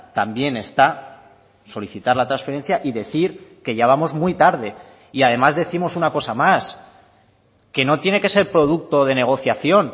también está solicitar la transferencia y decir que ya vamos muy tarde y además décimos una cosa más que no tiene que ser producto de negociación